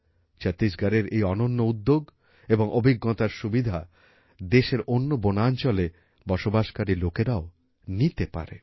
ছত্তিশগড়ের এই অনন্য উদ্যোগ এবং অভিজ্ঞতার সুবিধা দেশের অন্য বনাঞ্চলে বসবাসকারী লোকেরাও নিতে পারে